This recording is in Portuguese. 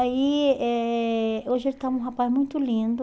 Aí, eh hoje ele está um rapaz muito lindo.